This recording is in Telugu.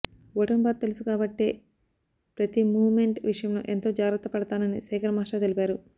ఓటమి బాధ తెలుసు కాబట్టే ప్రతి మూవ్ మెంట్ విషయంలో ఎంతో జాగ్రత్త పడతానని శేఖర్ మాస్టర్ తెలిపారు